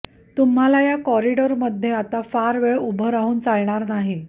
तूम्हाला या कॉरीडॉरमध्ये आता फार वेळ ऊभं राहून चालणार नाही